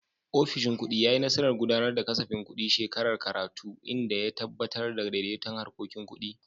Ofishin kudi ya yi nasarar gudanar da kasafin kudin shekarar karatu, inda ya tabbatar da daidaiton harkokin kudi.